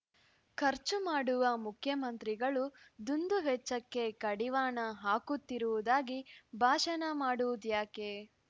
ಖರ್ಚುಮಾಡುವ ಮುಖ್ಯಮಂತ್ರಿಗಳು ದುಂದುವೆಚ್ಚಕ್ಕೆ ಕಡಿವಾಣ ಹಾಕುತ್ತಿರುವುದಾಗಿ ಭಾಷಣ ಮಾಡುವುದ್ಯಾಕೆ